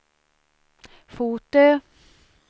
Fotö